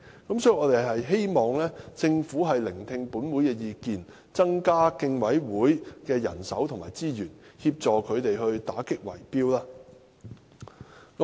因此，我們希望政府聽取本會的意見，增加競委會的人手及資源，協助他們打擊圍標。